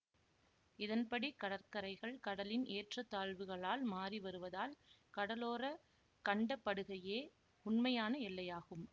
இதன்படி கடற்கரைகள் கடலின் ஏற்றத்தாழ்வுகளால் மாறிவருவதால் கடலோர கண்டப்படுகையே உண்மையான எல்லையாகும்